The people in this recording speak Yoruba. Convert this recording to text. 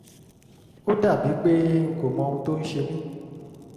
ó dàbí pé n kò mọ ohun tó ń ṣe mí